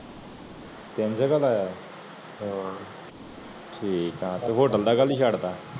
ਤੀਨ ਜੜ੍ਹ ਦਾ ਹੈ ਤੇ ਉਹ ਬੰਦਾ ਕਾਲੀ ਸ਼ਡ ਤਾ